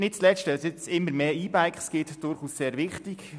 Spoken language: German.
Weil es nun immer mehr E-Bikes gibt, ist das sehr wichtig.